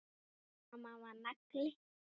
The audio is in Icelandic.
Mamma var nagli.